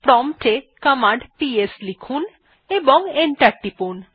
prompt এ command PS লিখুন এবং এন্টার টিপুন